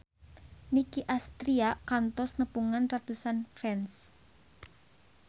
Nicky Astria kantos nepungan ratusan fans